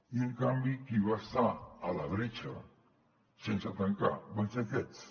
i en canvi qui va estar a la bretxa sense tancar van ser aquests